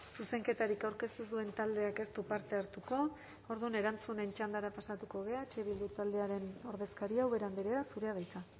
zuzenketarik aurkeztu ez duen taldeak ez du parte hartuko orduan erantzunen txandara pasatuko gara eh bildu taldearen ordezkaria ubera andrea zurea da hitza